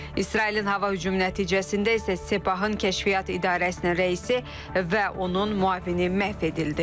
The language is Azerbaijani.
İsrailin hava hücumu nəticəsində isə Sepahın kəşfiyyat idarəsinin rəisi və onun müavini məhv edildi.